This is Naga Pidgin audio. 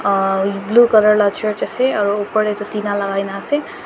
uah blue colour la church ase aro opor tae tu tina lakai na ase.